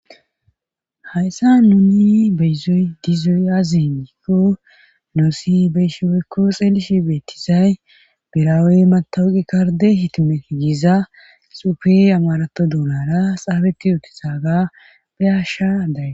hayssa nuni beyizoy dizoy aze gikko nuusi beyishe woykko xeelishe beettizay biraawey matawuqi karde hitimete giza xufe amarato dunara xaafeti ootizaga beyashshe daysi